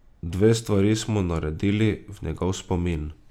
Dve stvari smo naredili v njegov spomin.